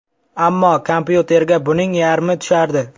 Ammo kompyuterga buning yarmi tushardi.